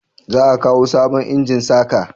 za a kawo sabon injin saka?